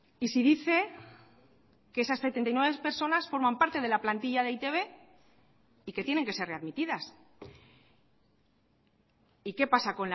y si dice que esas setenta y nueve personas forman parte de la plantilla de e i te be y que tienen que ser readmitidas y qué pasa